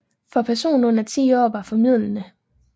For personer under ti år var formildende